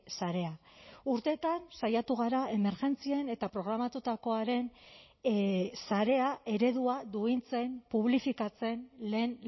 sarea urteetan saiatu gara emergentzien eta programatutakoaren sarea eredua duintzen publifikatzen lehen